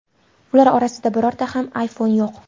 Ular orasida birorta ham iPhone yo‘q.